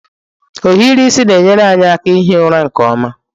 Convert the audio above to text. Ohiri isi na-enyere anyị aka ihi ụra nke ọma.